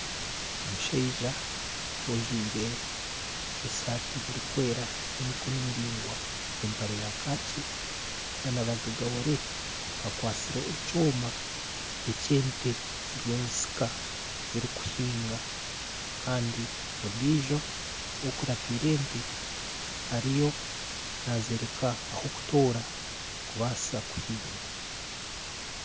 Omushaija ojwaire esaati erikwera ey'emikono miraingwa empare ya kaaki na bagagaware akwasire ekyoma eki ente ziriyo nizisika zirikuhinga. Kandi ondijo okuratiire ente ariyo naazoreka ah'okutoora kubaasa kuhinga.